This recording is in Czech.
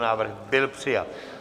Návrh byl přijat.